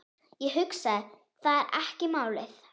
Ég hugsa, það er málið.